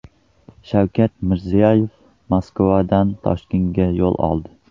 Shavkat Mirziyoyev Moskvadan Toshkentga yo‘l oldi.